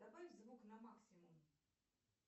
добавь звук на максимум